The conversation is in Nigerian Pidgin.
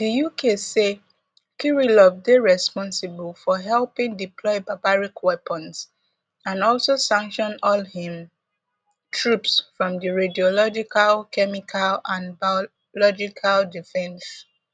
di uk say kirillov dey responsible for helping deploy barbaric weapons and also sanction all im troops from di radiological chemical and biological defence